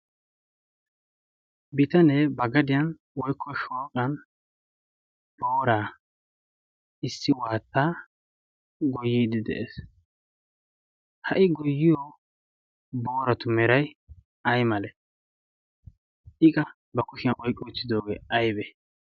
Bitanee ba gadiyan woykko shooqan booraa issi waattaa goyiidi de7ees. ha77i goyyiyo boorattu meray ay male? i qa ba kushiyan oyqqidoogee aybbe?